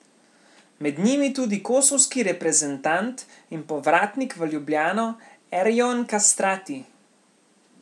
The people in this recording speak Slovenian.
Med njimi tudi kosovski reprezentant in povratnik v Ljubljano Erjon Kastrati.